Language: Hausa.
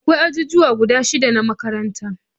Akwai ajijuwa guda shida na makaranta